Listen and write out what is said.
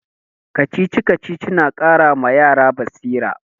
Kacici-kacici na ƙara ma yara basira.